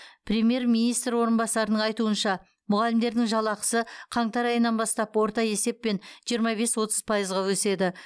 премьер министр орынбасарының айтуынша мұғалімдердің жалақысы қаңтар айынан бастап орта есеппен жиырма бес отыз пайызға өседі